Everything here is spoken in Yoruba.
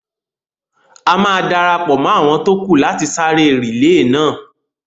A máa darapọ̀ mọ́ àwọn tó kù láti sáré rìílè náà